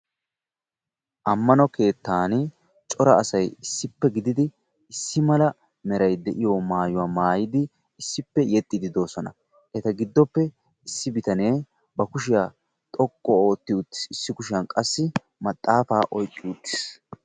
Ammano keettan cora asayi issippe gididi issi mala merayi de'iyo maayuwa maayidi issippe yexxiiddi doosona. Eta giddoppe issi bitanee ba kushiya xoqqu ootti uttis. Issi kushiyan qassi maxaafaa oyqqi uttis.